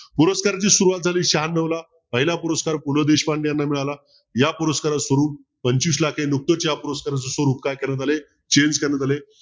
पुरस्काराची सुरुवात झाली शहाण्णवला पहिला पुरस्कार पु. ल. देशपांडे याना मिळाला या पुरस्काराचे स्वरूप पंचवीस लाख करण्यात आले change करण्यात आले